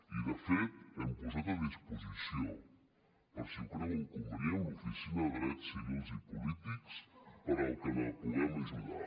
i de fet hem posat a disposició per si ho creuen convenient l’oficina de drets civils i polítics per al que puguem ajudar